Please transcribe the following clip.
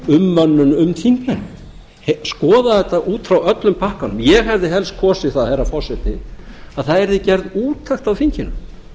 um þingmennina skoða þetta út frá öllum pakkanum ég hefði helst kosið það herra forseti að það yrði gerð úttekt á þinginu